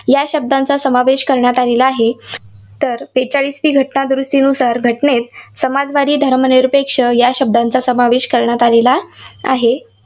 या शब्दांचा समावेश करण्यात आलेला आहे? तर बेचाळीसवी घटना दुरुस्तीनुसार घटनेत समाजवादी, धर्मनिरपेक्ष या शब्दांचा समावेश करण्यात आलेला आहे.